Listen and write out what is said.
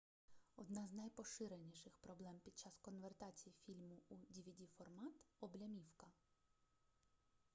одна з найпоширеніших проблем під час конвертації фільму у двд-формат облямівка